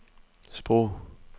sprog